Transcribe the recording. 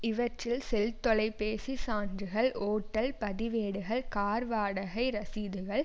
இவற்றில் செல் தொலைபேசி சான்றுகள் ஓட்டல் பதிவேடுகள் கார் வாடகை ரசீதுகள்